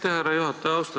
Aitäh, härra juhataja!